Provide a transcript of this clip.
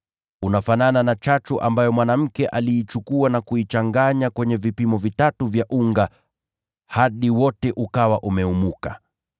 Unafanana na chachu ambayo mwanamke aliichukua akaichanganya katika kiasi kikubwa cha unga mpaka wote ukaumuka.”